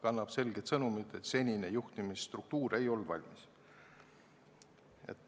Kannab selget sõnumit, et senine juhtimisstruktuur ei olnud valmis.